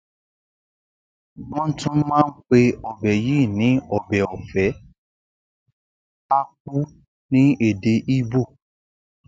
wọn tún má ń pe ọbẹ yìí ní ọbẹ ọfẹ akwu ní èdè igbó